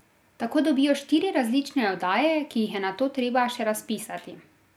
Tako dobijo štiri različne oddaje, ki jih je nato treba še razpisati.